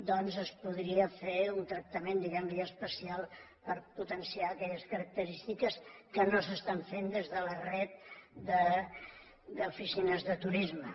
doncs es podria fer tractament diguem ne especial per potenciar aquelles característiques que no s’estan fent des de la xarxa d’oficines de turisme